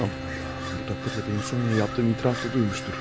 Aman Allahım, bu təqdirdə mənim Sonya'ya etdiyim etirafı da duymuşdur.